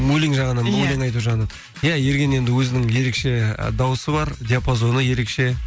өлең айту жағынан иә ерген енді өзінің ерекше ы дауысы бар диапазоны ерекше